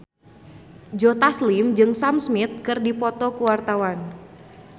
Joe Taslim jeung Sam Smith keur dipoto ku wartawan